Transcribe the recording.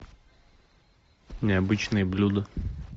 необычные блюда